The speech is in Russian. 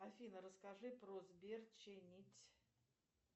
афина расскажи про сбер чинить